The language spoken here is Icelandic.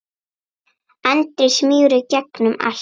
Andri: Smýgur í gegnum allt?